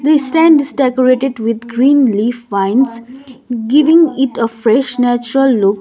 this stand is decorated with green leaf vines giving it a fresh natural look.